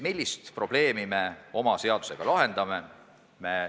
Millist probleemi me oma seaduseelnõuga lahendame?